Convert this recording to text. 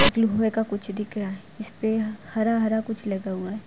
blue होए का कुछ दिख रहा है जिसपे हरा हरा कुछ लगा हुआ --